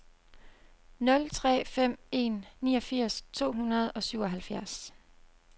nul tre fem en niogfirs to hundrede og syvoghalvfjerds